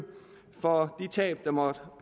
for de tab der måtte